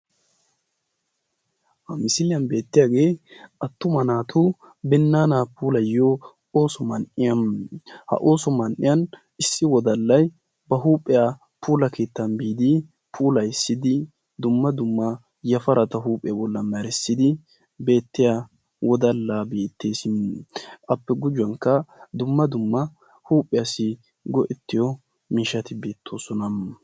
Ha misiliyaan beettiyaagee attuma naatu binnaana puulayiyoo ooso man"iyaa. ha ooso man"iyaa issi wodallay puula keettaa biidi puulayissi dumma dumma yafarata huuphphiyaa bollan meressidi beettiyaa wodallay beettees. appe guye baggaara dumma dumma huuphphiyaassi go"ettiyoo miishshati beettoosona.